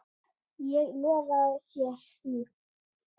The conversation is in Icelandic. Ég lofa þér því.